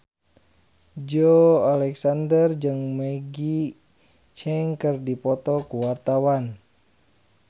Joey Alexander jeung Maggie Cheung keur dipoto ku wartawan